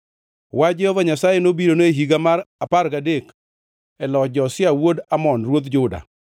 Wach Jehova Nyasaye nobirone e higa mar apar gadek e loch Josia wuod Amon ruodh Juda,